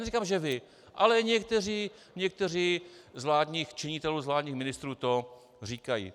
Neříkám, že vy, ale někteří z vládních činitelů, z vládních ministrů to říkají.